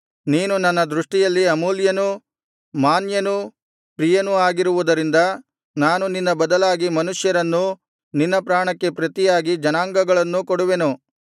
ನೀನು ನನ್ನ ದೃಷ್ಟಿಯಲ್ಲಿ ಅಮೂಲ್ಯನೂ ಮಾನ್ಯನೂ ಪ್ರಿಯನೂ ಆಗಿರುವುದರಿಂದ ನಾನು ನಿನ್ನ ಬದಲಾಗಿ ಮನುಷ್ಯರನ್ನೂ ನಿನ್ನ ಪ್ರಾಣಕ್ಕೆ ಪ್ರತಿಯಾಗಿ ಜನಾಂಗಗಳನ್ನೂ ಕೊಡುವೆನು